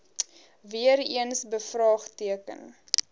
weer eens bevraagteken